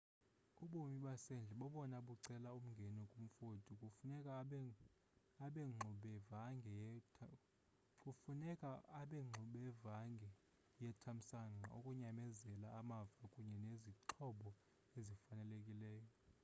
ubomi basendle bobona bucela umngeni kumfoti kufuneka abengxubevange yethamsanqa, ukunyamezela amava kunye nezixhobo ezifanelekileyo